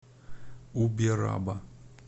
убераба